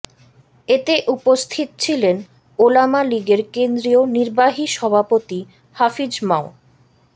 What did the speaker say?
এতে উপস্থিত ছিলেন ওলামা লীগের কেন্দ্রীয় নির্বাহী সভাপতি হাফিজ মাও